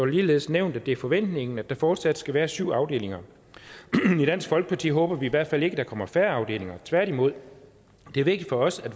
det ligeledes nævnt at det er forventningen at der fortsat skal være syv afdelinger i dansk folkeparti håber vi i hvert fald ikke at der kommer færre afdelinger tværtimod det er vigtigt for os at